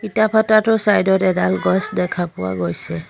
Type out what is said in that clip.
ইটা ভাটাটোৰ চাইড ত এডাল গছ দেখা পোৱা গৈছে।